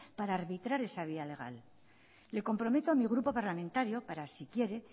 para arbitrar esa vía legal le comprometo a mi grupo parlamentario para si quiere